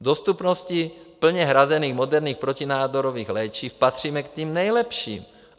V dostupnosti plně hrazených moderních protinádorových léčiv patříme k těm nejlepším.